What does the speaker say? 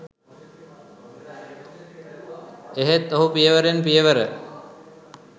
එහෙත් ඔහු පියවරෙන් පියවර